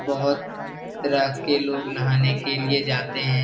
बोहत तरह के लोग नहाने के लिए जाते है।